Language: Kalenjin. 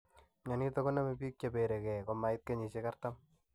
Mionito koname bik che bere gee komait kenyishek artam.